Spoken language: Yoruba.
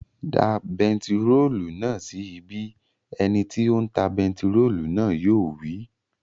Da bentiróòlù náà sí ibí! Ẹ ni tí ó ń ta bentiróòlù náà yóò wí